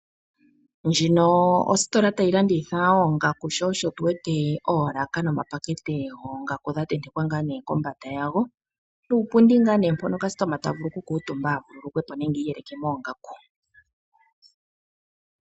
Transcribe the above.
Ndjino oyo ositola ta yi landitha oongaku, sho osho tu wete oolaka nomapakete goongaku ga tentekwa ngaa ne kombanda yago, nuupundi mboka ngaa ne kasitoma ta vulu okukuutuma a vululukwe po, nenge iyeleke moongaku.